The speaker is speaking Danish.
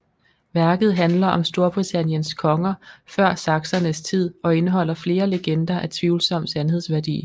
Værket handler om Storbritanniens konger før saksernes tid og indeholder flere legender af tvivlsom sandhedsværdi